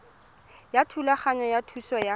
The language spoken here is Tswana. ya thulaganyo ya thuso ya